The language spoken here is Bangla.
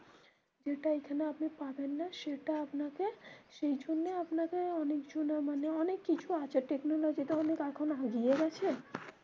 যেটা এখানে আপনি পাবেন না সেটা আপনাকে সেই জন্যে অনেক জনা মানে অনেক কিছু আছে technique আছে